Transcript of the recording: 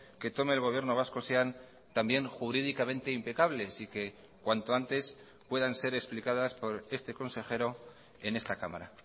que tome el gobierno vasco sean también jurídicamente impecables y que cuanto antes puedan ser explicadas por este consejero en esta cámara